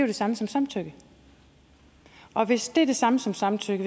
det samme som samtykke og hvis det er det samme som samtykke